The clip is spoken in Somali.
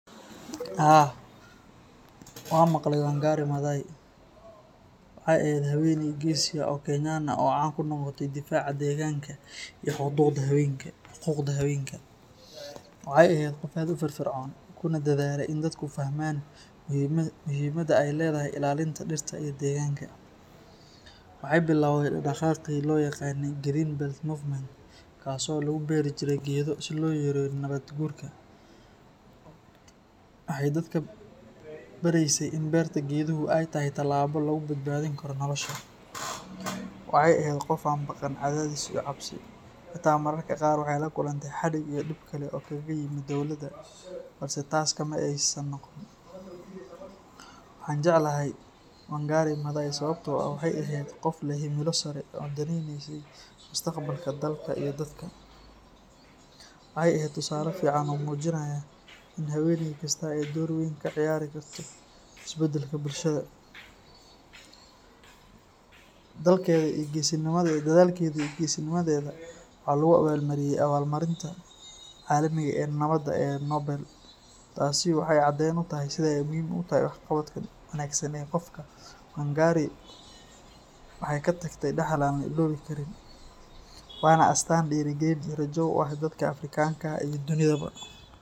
Haa, waan maqlay Wangari Maathai. Waxay ahayd haweeney geesi ah oo Kenyan ah oo caan ku noqotay difaaca deegaanka iyo xuquuqda haweenka. Waxay ahayd qof aad u firfircoon, kuna dadaalay in dadku fahmaan muhiimadda ay leedahay ilaalinta dhirta iyo deegaanka. Waxay bilawday dhaqdhaqaaqii loo yaqaanay Green Belt Movement, kaas oo lagu beeri jiray geedo si loo yareeyo nabaad guurka. Waxay dadka baraysay in beerta geeduhu ay tahay tallaabo lagu badbaadin karo nolosha. Waxay ahayd qof aan ka baqan cadaadis iyo cabsi, xitaa mararka qaar waxay la kulantay xadhig iyo dhib kale oo kaga yimid dowladda, balse taas kama aysan noqon. Waxa aan jeclahay Wangari Maathai sababtoo ah waxay ahayd qof leh himilo sare oo danaynaysay mustaqbalka dalka iyo dadka. Waxay ahayd tusaale fiican oo muujinaya in haweeney kastaa ay door weyn ka ciyaari karto isbeddelka bulshada. Dadaalkeeda iyo geesinimadeeda waxa lagu abaalmariyay abaalmarinta caalamiga ah ee Nabadda ee Nobel. Taasi waxay caddeyn u tahay sida ay muhiim u tahay waxqabadka wanaagsan ee qofka. Wangari waxay ka tagtay dhaxal aan la iloobi karin, waana astaan dhiirrigelin iyo rajo u ah dadka Afrikaanka ah iyo dunidaba.